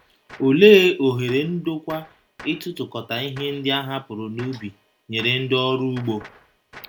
Olee ohere ndokwa ịtụtụkọta ihe ndị a hapụrụ n’ubi nyere ndị ọrụ ugbo?